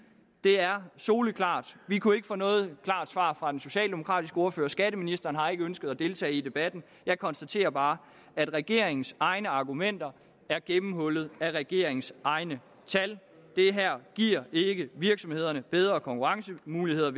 det er soleklart vi kunne ikke få noget klart svar fra den socialdemokratiske ordfører skatteministeren har ikke ønsket at deltage i debatten jeg konstaterer bare at regeringens egne argumenter er gennemhullet af regeringens egne tal det giver ikke virksomhederne bedre konkurrencemuligheder